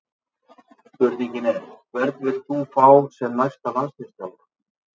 Spurningin er: Hvern vilt þú fá sem næsta landsliðsþjálfara?